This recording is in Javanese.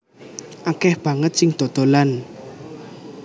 Akeh banget sing dodolan